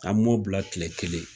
An m'o bila tile kelen.